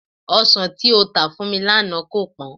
Ọsàn yíyọ tà fún mi lánàá kò pọ́n